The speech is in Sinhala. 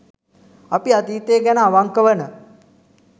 අපි අතීතය ගැන අවංක වන